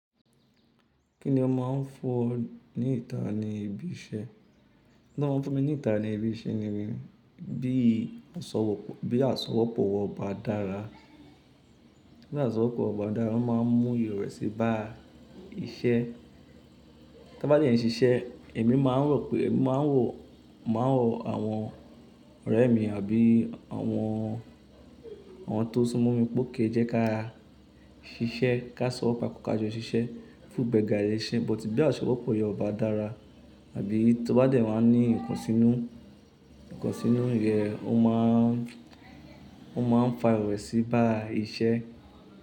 Kí ni o máa ń fún ní ìta ní ibi iṣẹ́? Tí wọ́n ń fún mi ní ìtara ní ibi iṣẹ́ ni, bí aṣọwọ́pọ̀ wa ọba dára. Tí aṣọwọ́pọ̀ ọba dára, obmáa ń mú ìrẹ̀ sí bá iṣẹ́. Tí wo bá dẹ ń ṣiṣẹ́, èmi máa ń wò, máa ń wò, máa ń wò àwọn ọ̀rẹ́ mi àbí àwọn, àwọn tó sún mọ́ mi pe ókay, jẹ́ ká ṣiṣẹ́, ká sọ̀wọ̀ ká jọ ṣiṣẹ́ fún ìgbẹ̀ga ile iṣẹ́. Bótí bí aṣọwọ́pọ̀ yọ ọba dára àbí tó bá dẹ má ní nǹkan sínú, nǹkan sínú yẹ́n, ó máa ń, ó máa ń fa ìrẹ̀ sí bá iṣẹ́